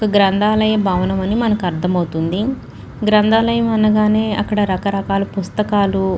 గ్రంథాలయం భవనమని మనకు అర్థమవుతుంది గ్రంథాలయం అనగానే అక్కడ రకరకాల పుస్తకాలు --